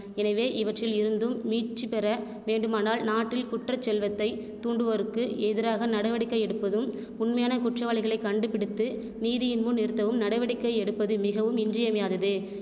எனவே இவற்றில் இருந்தும் மீட்சிபெற வேண்டுமானால் நாட்டில் குற்றச்செல்வத்தை தூண்டுவோருக்கு எதிராக நடவடிக்கை எடுப்பதும் உண்மையான குற்றவாளிகளை கண்டுபிடித்து நீதியின் முன்நிறுத்தவும் நடவடிக்கை எடுப்பது மிகவும் இன்றியமையாதது